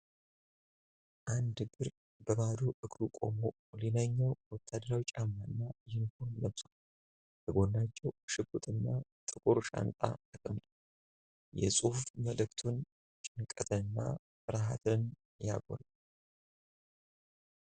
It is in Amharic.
አንድ እግር በባዶ እግሩ ቆሞ፣ ሌላኛው ወታደራዊ ጫማና ዩኒፎርም ለብሷል። ከጎናቸው ሽጉጥና ጥቁር ሻንጣ ተቀምጧል። የጽሑፍ መልዕክቱ ጭንቀትንና ፍርሃትን ያጎላል።